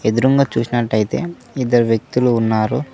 ఎదురుంగా చూసినట్టయితే ఇద్దరు వ్యక్తులు ఉన్నారు.